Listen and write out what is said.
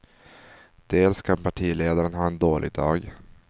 Dels kan partiledaren ha en dålig dag.